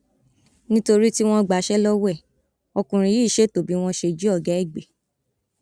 nítorí tí wọn gbaṣẹ lọwọ ẹ ọkùnrin yìí ṣètò bí wọn ṣe jí ọgá ẹ gbé